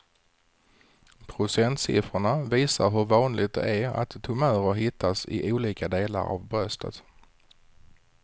Procentsiffrorna visar hur vanligt det är att tumörer hittas i olika delar av bröstet.